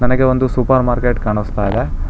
ಇಲ್ಲಿ ಒಂದು supermarket ಕಾಣಿಸ್ತಾಇದೆ.